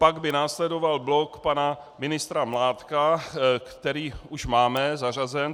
Pak by následoval blok pana ministra Mládka, který už máme zařazen.